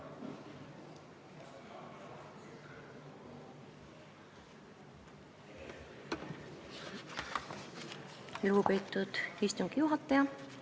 Lugupeetud istungi juhataja!